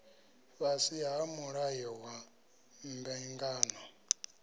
fhasi ha mulayo wa mbingano